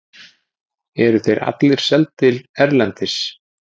eru þeir allir seldir erlendis